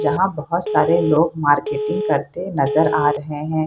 जहाँ बहुत सारे लोग मार्केटिंग करते नजर आ रहे हैं।